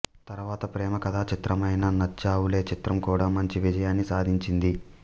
తర్వాత ప్రేమ కథాచిత్రమైన నచ్చావులే చిత్రం కూడా మంచి విజయాన్ని సాధించింది